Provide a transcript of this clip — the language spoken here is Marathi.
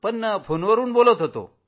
पण फोनवरून बोलत होतो